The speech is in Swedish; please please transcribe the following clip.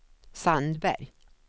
Sandberg